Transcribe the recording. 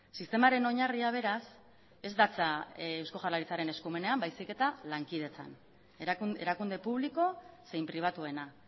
sistemaren oinarria beraz ez datza eusko jaurlaritzaren eskumenean baizik eta lankidetzan erakunde publiko zein pribatuena